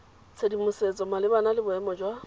tshedimosetso malebana le boemo jwa